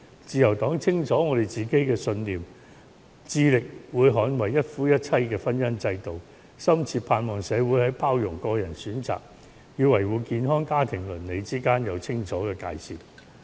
自由黨清楚自己的信念，會致力捍衞一夫一妻的婚姻制度，深切盼望社會在包容個人選擇與維護健康家庭倫理之間有清楚的界線。